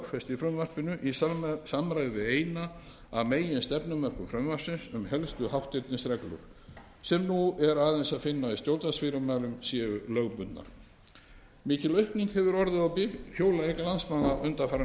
í frumvarpinu í samræmi við eina af meginstefnumörkun frumvarpsins um að helstu hátternisreglur sem nú er aðeins að finna í stjórnvaldsfyrirmælum séu lögbundnar mikil aukning hefur orðið á bifhjólaeign landsmanna undanfarin ár